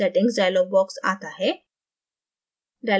settings dialogue box आता है